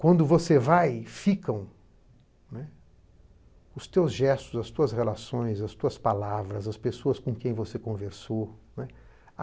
Quando você vai, ficam, né, os teus gestos, as tuas relações, as tuas palavras, as pessoas com quem você conversou, né.